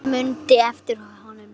Hún mundi eftir honum.